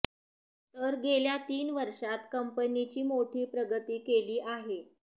तर गेल्या तीन वर्षात कंपनीची मोठी प्रगती केली आहे